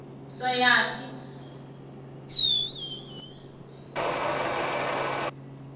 soyaphi